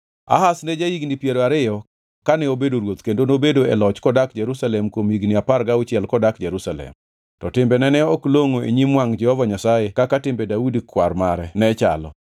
Ahaz ne ja-higni piero ariyo kane obedo ruoth kendo nobedo e loch kodak Jerusalem kuom higni apar gauchiel kodak Jerusalem. To timbene ne ok longʼo e nyim wangʼ Jehova Nyasaye kaka timbe Daudi kwar mare ne chalo.